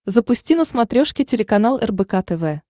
запусти на смотрешке телеканал рбк тв